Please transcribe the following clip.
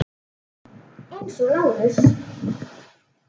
Eins og Lárus.